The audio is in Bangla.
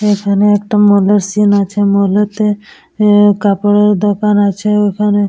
এখানে একটা মল -এর সিন্ আছে। মাল -এতে এ কাপড়ের দোকান আছে। ওখানে --